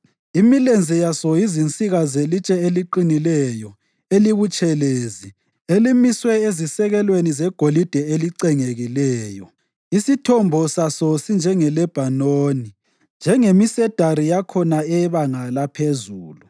Imilenze yaso yizinsika zelitshe eliqinileyo elibutshelezi elimiswe ezisekelweni zegolide elicengekileyo. Isithombo saso sinjengeLebhanoni, njengemisedari yakhona eyebanga laphezulu.